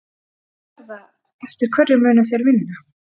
Hvernig verða, eftir hverju munu þeir vinna?